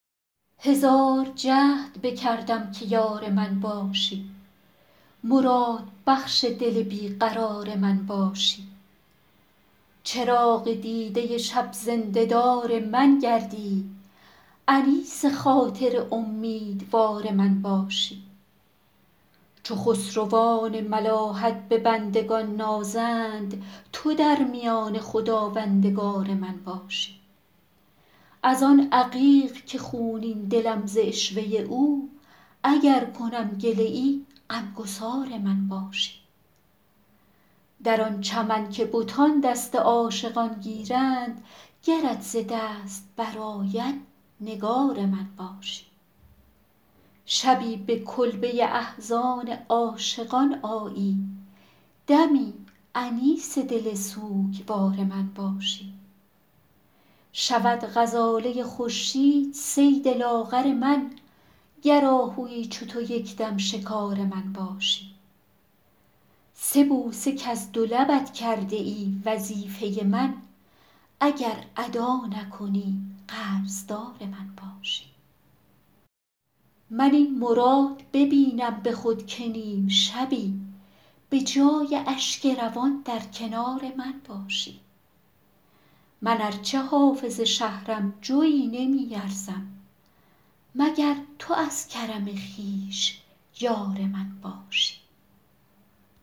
هزار جهد بکردم که یار من باشی مرادبخش دل بی قرار من باشی چراغ دیده شب زنده دار من گردی انیس خاطر امیدوار من باشی چو خسروان ملاحت به بندگان نازند تو در میانه خداوندگار من باشی از آن عقیق که خونین دلم ز عشوه او اگر کنم گله ای غم گسار من باشی در آن چمن که بتان دست عاشقان گیرند گرت ز دست برآید نگار من باشی شبی به کلبه احزان عاشقان آیی دمی انیس دل سوگوار من باشی شود غزاله خورشید صید لاغر من گر آهویی چو تو یک دم شکار من باشی سه بوسه کز دو لبت کرده ای وظیفه من اگر ادا نکنی قرض دار من باشی من این مراد ببینم به خود که نیم شبی به جای اشک روان در کنار من باشی من ار چه حافظ شهرم جویی نمی ارزم مگر تو از کرم خویش یار من باشی